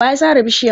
Wa ya sare bishiyan?